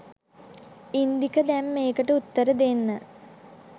ඉන්දික දැන් මේකට උත්තර දෙන්න